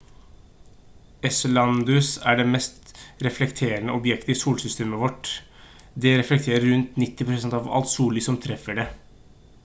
enceladus er det mest reflekterende objektet i solsystemet vårt det reflekterer rundt 90 % av alt sollys som treffer det